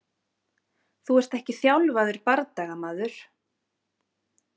Þú ert ekki þjálfaður bardagamaður.